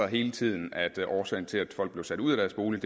hele tiden hed sig at årsagen til at folk bliver sat ud af deres bolig